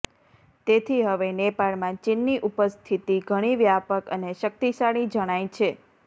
તેથી હવે નેપાળમાં ચીનની ઉપસ્થિતિ ઘણી વ્યાપક અને શક્તિશાળી જણાય છે